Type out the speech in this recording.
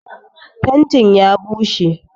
Fentin ya bushe.